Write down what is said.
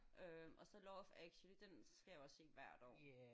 Øh og så Love Actually den skal jeg også hvert år